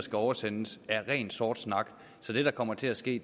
skal oversendes er ren sort snak så det der kommer til at ske